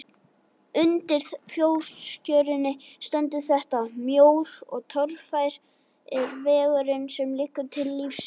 Undir fótskörinni stendur þetta: Mjór og torfær er vegurinn sem liggur til lífsins.